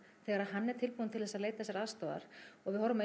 þegar hann er tilbúinn til þess að leita sér aðstoðar og við horfum á